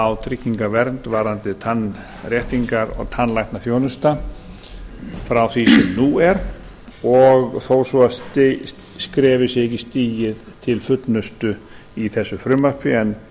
á tryggingavernd varðandi tannréttingar og tannlæknaþjónustu frá því sem nú er þó svo að skrefið sé ekki stigið til fullnustu í þessu frumvarpi en